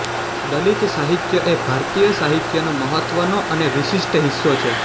દલિત સાહિત્ય એ ભારતીય સાહિત્યનો મહત્ત્વનો અને વિશિષ્ટ હિસ્સો છે